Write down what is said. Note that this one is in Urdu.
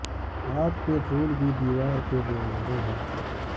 ہاتھ کے پھول بھی دیوار پے دے مارے ہیں